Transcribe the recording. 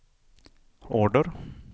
order